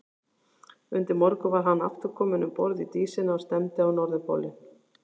Undir morgun var hann aftur kominn um borð í Dísina og stefndi á Norðurpólinn.